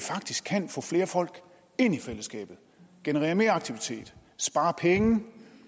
kan få flere folk ind i fællesskabet og generere mere aktivitet og spare penge